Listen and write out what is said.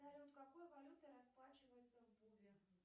салют какой валютой расплачивается в буве